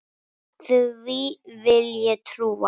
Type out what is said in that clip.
Því vil ég trúa!